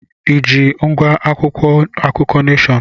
I ji ngwá akwụkwọ akụkọ Neshọn?